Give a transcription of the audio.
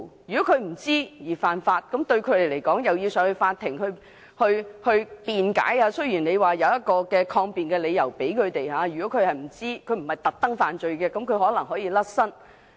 如果因不知情犯法而要到法庭辯解，雖然有抗辯的理由，解釋是不知情而不是刻意犯罪，可能可以脫身。